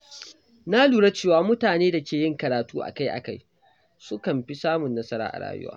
Na lura cewa mutanen da ke yin karatu akai-akai sukan fi samun nasara a rayuwa.